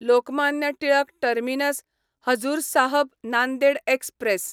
Lokmanya Tilak terminus Hazur Sahib Nanded express